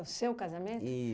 O seu casamento?